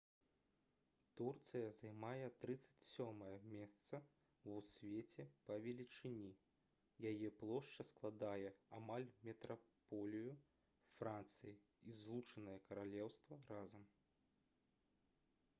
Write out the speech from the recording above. турцыя займае 37-е месца ў свеце па велічыні яе плошча складае амаль метраполію францыі і злучанае каралеўства разам